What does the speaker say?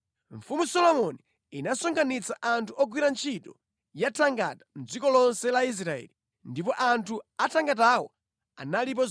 Mfumu Solomoni inasonkhanitsa anthu ogwira ntchito ya thangata mʼdziko lonse la Israeli ndipo anthu athangatawo analipo 30,000.